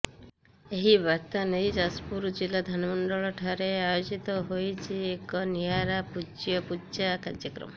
ଏଇ ବାର୍ତ୍ତା ଦେଇ ଯାଜପୁର ଜିଲ୍ଲା ଧାନମଣ୍ଡଳ ଠାରେ ଆୟୋଜିତ ହୋଇଛି ଏକ ନିଆରା ପୂଜ୍ୟପୂଜା କାର୍ଯ୍ୟକ୍ରମ